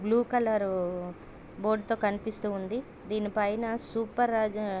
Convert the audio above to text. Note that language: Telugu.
బ్లూ కలర్ బోర్డు తో కనిపిస్తున్నది. దీని పైన సూపర్రాజా --